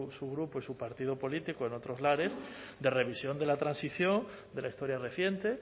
su grupo y su partido político en otros lares de revisión de la transición de la historia reciente